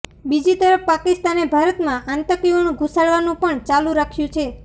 બીજીતરફ પાકિસ્તાને ભારતમાં આતંકીઓ ઘૂસાડવાનું પણ ચાલુ રાખ્યું છે